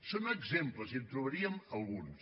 són exemples i en trobaríem alguns